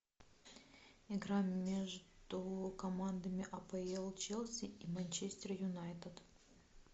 игра между командами апл челси и манчестер юнайтед